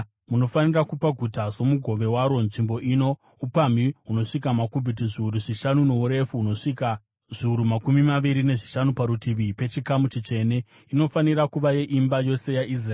“ ‘Munofanira kupa guta somugove waro nzvimbo ino upamhi hunosvika makubhiti zviuru zvishanu nourefu hunosvika zviuru makumi maviri nezvishanu, parutivi pechikamu chitsvene; inofanira kuva yeimba yose yaIsraeri.